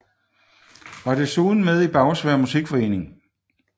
Var desuden med i Bagsværd Musikforening